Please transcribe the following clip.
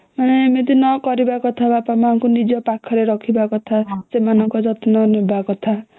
ଏମିତି ନ କରିବା କଥା ନିଜ ବାପା ମାଙ୍କୁ ନିଜ ପାଖରେ ରଖିବା କଥା ସେମାନଙ୍କ ଯତ୍ନ ନବା କଥା ହୁଁ